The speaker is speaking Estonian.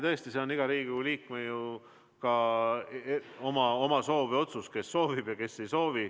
Tõesti, see on iga Riigikogu liikme oma soov või otsus, kes soovib ja kes ei soovi.